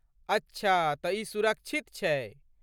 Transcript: अच्छा तँ ई सुरक्षित छै।